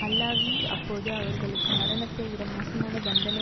அல்லாவி அப்போது அவர்களுக்கு மரணத்தைவிட மோசமான தண்டனை